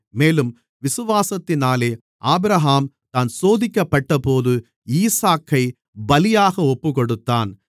மேலும் விசுவாசத்தினாலே ஆபிரகாம் தான் சோதிக்கப்பட்டபோது ஈசாக்கைப் பலியாக ஒப்புக்கொடுத்தான்